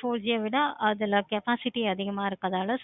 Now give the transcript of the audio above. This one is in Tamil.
four G ஏ இல்ல. capacity அதிகமா இருக்கனால